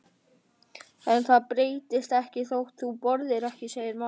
En það breytist ekkert þótt þú borðir ekki, segir mamma.